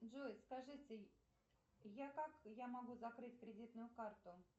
джой скажите я как я могу закрыть кредитную карту